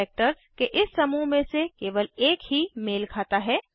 characters के इस समूह में से केवल एक ही मेल खाता है